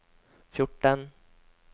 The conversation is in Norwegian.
fjorten